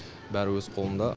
бәрі өз қолымда